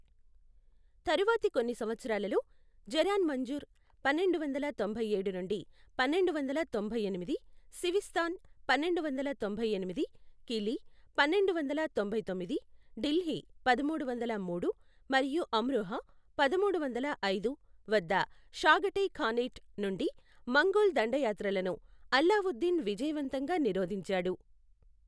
తరువాతి కొన్ని సంవత్సరాలలో, జరాన్ మంజుర్, పన్నెండు వందల తొంభై ఏడు నుండి పన్నెండు వందల తొంభై ఎనిమిది, సివిస్తాన్, పన్నెండు వందల తొంభై ఎనిమిది, కిలీ, పన్నెండు వందల తొంభై తొమ్మిది, ఢిల్లీ, పదమూడు వందల మూడు, మరియు అమ్రోహా, పదమూడు వందల ఐదు, వద్ద షాగటై ఖానేట్ నుండి మంగోల్ దండయాత్రలను అలావుద్దీన్ విజయవంతంగా నిరోధించాడు.